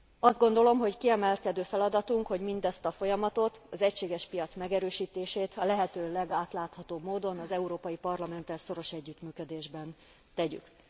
Azt gondolom, hogy kiemelkedő feladatunk, hogy mindezt a folyamatot, az egységes piac megerősítését, a lehető legátláthatóbb módon az Európai Parlamenttel szoros együttműködésben tegyük.